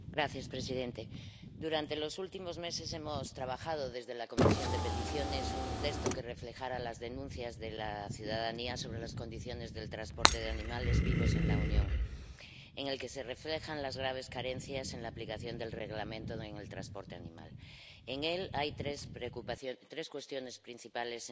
Señor presidente, durante los últimos meses hemos estado trabajando en la Comisión de Peticiones en un texto que reflejara las denuncias de la ciudadanía sobre las condiciones del transporte de animales vivos en la Unión, y en el que se reflejan las graves carencias en la aplicación del Reglamento sobre el transporte animal. En él hay tres cuestiones principales